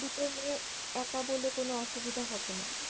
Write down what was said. দুটো মেয়ে একা বলে কোনো অসুবিধা হবে না।